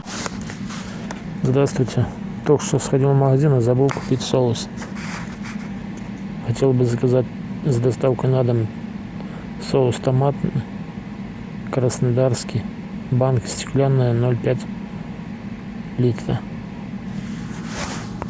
здравствуйте только что сходил в магазин и забыл купить соус хотел бы заказать с доставкой на дом соус томатный краснодарский банка стеклянная ноль пять литра